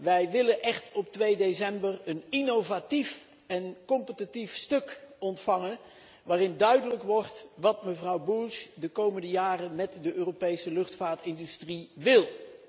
Wij willen op 2 december echt een innovatief en competitief stuk ontvangen waarin duidelijk wordt waar mevrouw Bulc de komende jaren met de Europese luchtvaartindustrie naartoe wil.